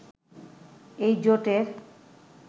এই জোটের